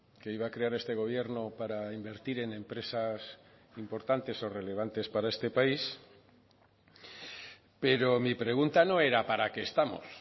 que iba a crear este gobierno para invertir en empresas importantes o relevantes para este país pero mi pregunta no era para qué estamos